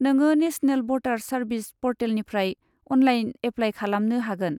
नोङो national voters service परटेलनिफ्राय online apply खालामनो हागोन।